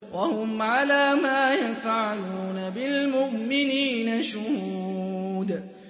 وَهُمْ عَلَىٰ مَا يَفْعَلُونَ بِالْمُؤْمِنِينَ شُهُودٌ